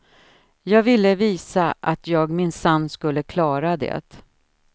Jag ville visa att jag minsann skulle klara det.